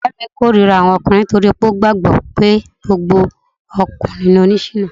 Ọ̀rẹ́ mi k'órira àwọn ọkùnrin nítorí ó gbàgbọ́ pé gbogbo ọkùnrin ni oni ṣìná